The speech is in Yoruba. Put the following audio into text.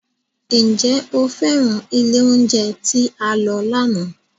Ǹjẹ́ o féràn ilé oúnjẹ tí a lọ lánàá?